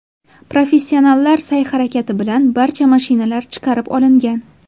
Professionallar sa’y-harakati bilan barcha mashinalar chiqarib olingan.